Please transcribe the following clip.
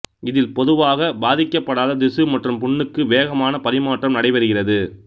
இதில் பொதுவாக பாதிக்கப்படாத திசு மற்றும் புண்ணுக்கு வேகமான பரிமாற்றம் நடைபெறுகிறது